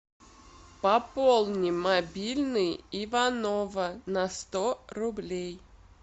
пополни мобильный иванова на сто рублей